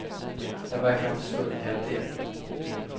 Den verkar ha försvunnit i hanteringen.